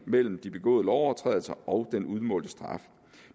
mellem de begåede lovovertrædelser og den udmålte straf